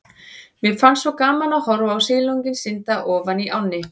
Mér fannst svo gaman að horfa á silunginn synda ofan í ánni.